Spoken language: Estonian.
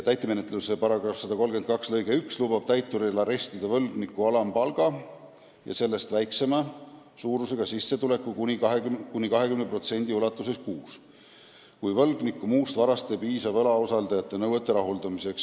Täitemenetluse seadustiku § 132 lõige 12 lubab täituril arestida võlgniku alampalga ja sellest väiksema suurusega sissetulekust kuni 20% kuus, kui võlgniku muust varast ei piisa võlausaldajate nõuete rahuldamiseks.